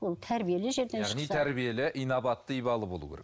ол тәрбиелі жерден шықса яғни тәрбиелі инабатты ибалы болуы керек